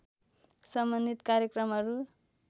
सम्बन्धित कार्यक्रमहरू